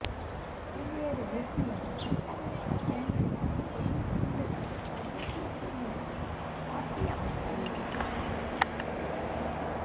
பல்வேறு நிர்ணயம் கட்டமைப்புகள் பயன்படுத்தி எலும்புத் துண்டுகள் அறுவைச் சிகிச்சை மூலம் மாற்றி அமைத்தல்